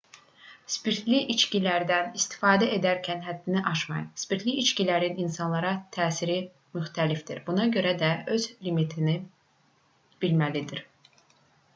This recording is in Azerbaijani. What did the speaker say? spirtli içkilərdən istifadə edərkən həddini aşmayın spirtli içkilərin insanlara təsiri müxtəlifdir buna görə də hərə öz limitini bilməlidir